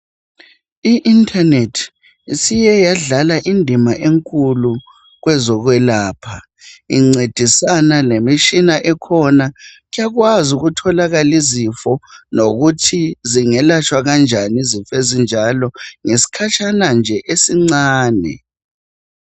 I internet isike yadlala indima enkulu kwezokwelapha incedisana lemitshina ekhona ekwazi ukutholakala izifo lokuthi zingelatshwa kanjani izifo ezinjalo ngesikhatshana nje esincane.